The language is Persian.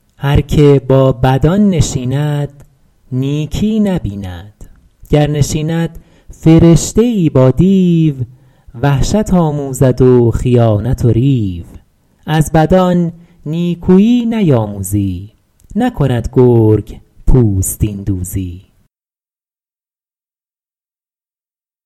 هر که با بدان نشیند نیکی نبیند گر نشیند فرشته ای با دیو وحشت آموزد و خیانت و ریو از بدان نیکویی نیاموزی نکند گرگ پوستین دوزی